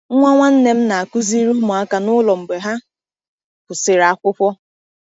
Nwa nwanne m na-akụziri ụmụaka n’ụlọ mgbe ha kwụsịrị akwụkwọ.